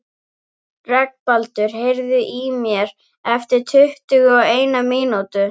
Reginbaldur, heyrðu í mér eftir tuttugu og eina mínútur.